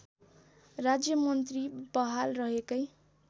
राज्यमन्त्री बहाल रहेकै